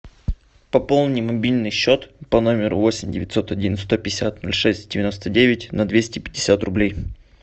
пополни мобильный счет по номеру восемь девятьсот один сто пятьдесят ноль шесть девяносто девять на двести пятьдесят рублей